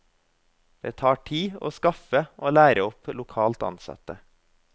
Det tar tid å skaffe og lære opp lokalt ansatte.